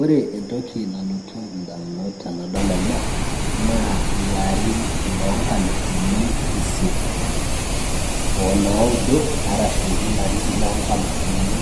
ore entoki nalotu indamunot tenadol ena naa ilarin loonkalifuni isiet o naudo arashu ilarin loonkalifuni